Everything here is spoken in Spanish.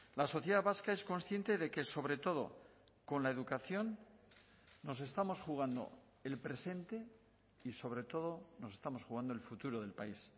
la sociedad vasca es consciente de que sobre todo con la educación nos estamos jugando el presente y sobre todo nos estamos jugando el futuro del país